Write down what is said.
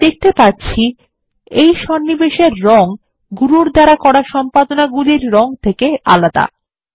আমরা দেখতে পাচ্ছি এই সন্নিবেশ এর রং গুরুর দ্বারা করা সম্পাদনাগুলির রং থেকে আলাদা